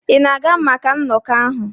Ị na-aga maka nnọkọ ahụ?